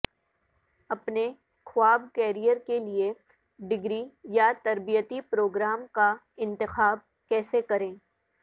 اپنے خواب کیریئر کے لئے ڈگری یا تربیتی پروگرام کا انتخاب کیسے کریں